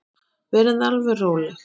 Verið þið alveg róleg.